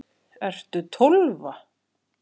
Ertu Tólfa?